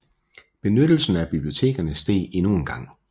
Benyttelsen af bibliotekerne steg endnu en gang